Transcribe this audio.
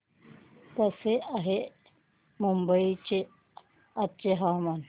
कसे आहे मुंबई चे आजचे हवामान